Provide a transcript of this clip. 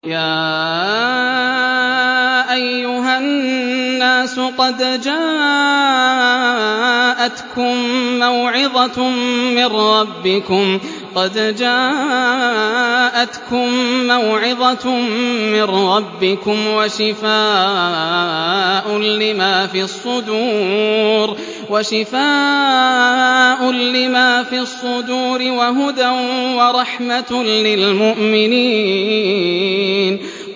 يَا أَيُّهَا النَّاسُ قَدْ جَاءَتْكُم مَّوْعِظَةٌ مِّن رَّبِّكُمْ وَشِفَاءٌ لِّمَا فِي الصُّدُورِ وَهُدًى وَرَحْمَةٌ لِّلْمُؤْمِنِينَ